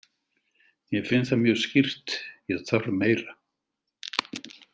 Ég finn það mjög skýrt, ég þarf meira.